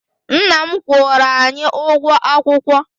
Nna m kwụrụ anyị ụgwọ akwụkwọ.